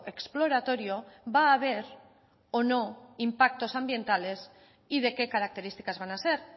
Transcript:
exploratorio va a haber o no impactos ambientales y de qué características van a ser